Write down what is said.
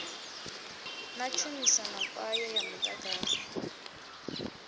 ḽa tshumiso kwayo ya muḓagasi